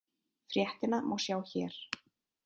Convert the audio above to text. Fréttina má sjá hér.